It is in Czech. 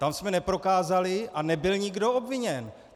Tam jsme neprokázali a nebyl nikdo obviněn.